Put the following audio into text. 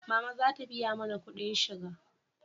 Mama za ta biya mana kudin shiga